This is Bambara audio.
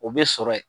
O bɛ sɔrɔ yen